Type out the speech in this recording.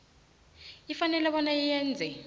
ifanele bona yenze